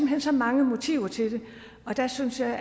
hen så mange motiver til det og der synes jeg